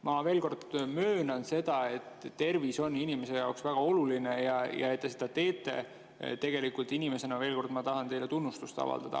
Ma veel kord möönan seda, et tervis on inimese jaoks väga oluline ja selle eest, et te seda, tegelikult inimesena, veel kord, ma tahan teile tunnustust avaldada.